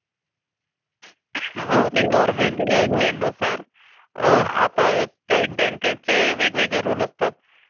हा ते गव्हर्न्मेटम गाइडलाइननुसार ते आता काही बॅंकेचे वेगळे वेगळे रुल असतात.